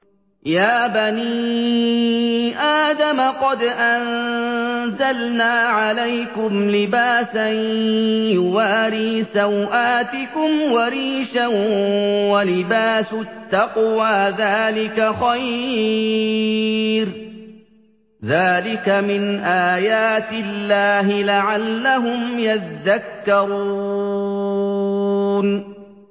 يَا بَنِي آدَمَ قَدْ أَنزَلْنَا عَلَيْكُمْ لِبَاسًا يُوَارِي سَوْآتِكُمْ وَرِيشًا ۖ وَلِبَاسُ التَّقْوَىٰ ذَٰلِكَ خَيْرٌ ۚ ذَٰلِكَ مِنْ آيَاتِ اللَّهِ لَعَلَّهُمْ يَذَّكَّرُونَ